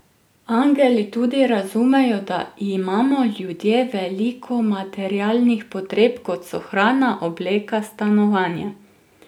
Angeli tudi razumejo, da imamo ljudje veliko materialnih potreb, kot so hrana, obleka, stanovanje ...